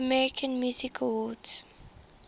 american music awards